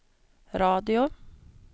radio